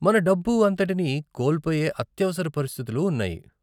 మన డబ్బు అంతటిని కోల్పోయే అత్యవసర పరిస్థితులు ఉన్నాయి.